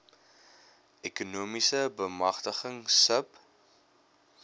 ekonomiese bemagtiging sub